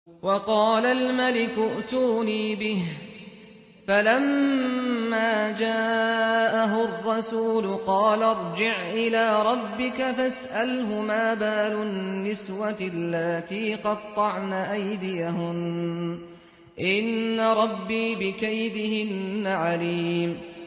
وَقَالَ الْمَلِكُ ائْتُونِي بِهِ ۖ فَلَمَّا جَاءَهُ الرَّسُولُ قَالَ ارْجِعْ إِلَىٰ رَبِّكَ فَاسْأَلْهُ مَا بَالُ النِّسْوَةِ اللَّاتِي قَطَّعْنَ أَيْدِيَهُنَّ ۚ إِنَّ رَبِّي بِكَيْدِهِنَّ عَلِيمٌ